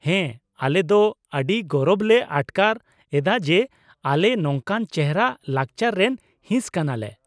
ᱦᱮᱸ, ᱟᱞᱮ ᱫᱚ ᱟᱹᱰᱤ ᱜᱚᱨᱚᱵ ᱞᱮ ᱟᱴᱠᱟᱨ ᱮᱫᱟ ᱡᱮ ᱟᱞᱮ ᱱᱚᱝᱠᱟᱱ ᱪᱮᱦᱨᱟ ᱞᱟᱠᱪᱟᱨ ᱨᱮᱱ ᱦᱤᱸᱥ ᱠᱟᱱᱟᱞᱮ ᱾